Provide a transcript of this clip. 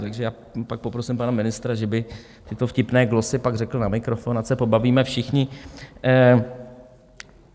Takže já pak poprosím pana ministra, že by tyto vtipné glosy pak řekl na mikrofon, ať se pobavíme všichni.